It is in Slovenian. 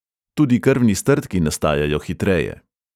Tudi krvni strdki nastajajo hitreje.